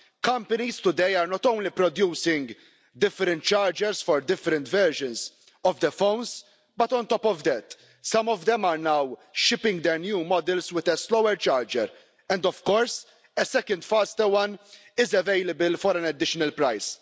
Companies today are not only producing different chargers for different versions of their phones, but on top of that, some of them are now shipping their new models with a slower charger and, of course, a second, faster one is available for an additional price.